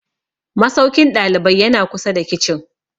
Masaukin ɗalibai ya na kusa da kicin